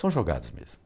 São jogados mesmo.